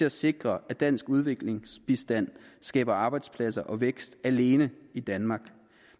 at sikre at dansk udviklingsbistand skaber arbejdspladser og vækst alene i danmark